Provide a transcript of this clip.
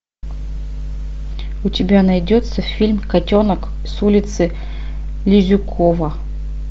у тебя найдется фильм котенок с улицы лизюкова